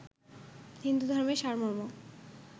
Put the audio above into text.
হিন্দুধর্মের সারমর্ম